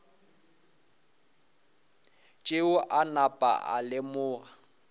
tšeo a napa a lemoga